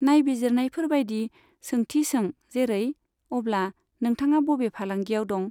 नायबिजिरनायफोर बाइदि सोंथि सों जेरै, अब्ला नोंथाङा बबे फालांगियाव दं?